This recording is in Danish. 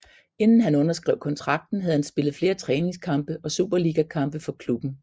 Inden han underskrev kontrakten havde han spillet flere træningskampe og Superligakampe for klubben